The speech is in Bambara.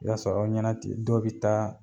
I b'a sɔrɔ aw ɲɛna ten dɔw bi taa